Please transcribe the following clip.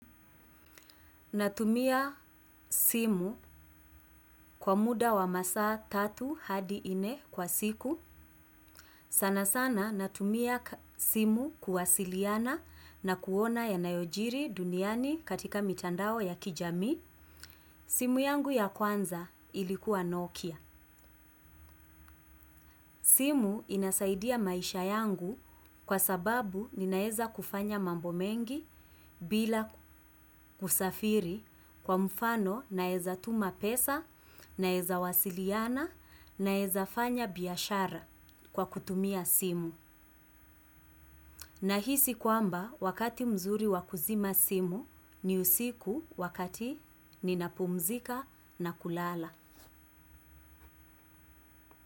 Natumia simu kwa muda wa masaa tatu hadi nne kwa siku. Sana sana natumia simu kuwasiliana na kuona ya yanayojiri duniani katika mitandao ya kijamii. Simu yangu ya kwanza ilikuwa Nokia. Simu inasaidia maisha yangu kwa sababu ninaeza kufanya mambo mengi bila kusafiri. Kwa mfano naweza tuma pesa, naeza wasiliana, naeza fanya biashara kwa kutumia simu. Nahisi kwamba wakati mzuri wa kuzima simu ni usiku wakati ninapumzika na kulala.